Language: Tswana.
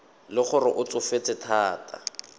le gore o tsofetse thata